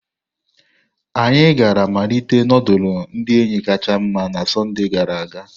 Anyị gara mmalite nudulu ndi enyi kacha nma na Sọnde gara aga.